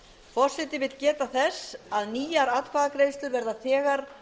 forseti vill geta þess að nýjar atkvæðagreiðslur verða þegar